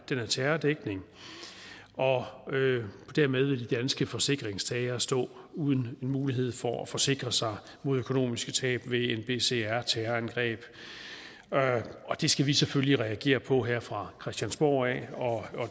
terrordækning og dermed vil de danske forsikringstagere stå uden mulighed for at forsikre sig mod økonomiske tab ved nbcr terrorangreb det skal vi selvfølgelig reagere på her fra christiansborg og